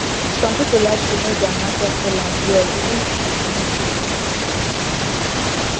some people like to know their market sellers well even if e no too easy